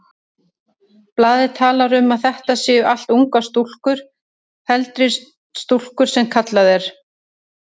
Blaðið talar um að þetta séu allt ungar stúlkur, heldri stúlkur sem kallað er.